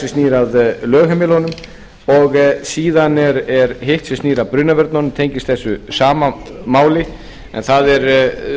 snýr að lögheimilunum og síðan er hitt sem snýr að brunavörnunum tengist þessu sama máli en það er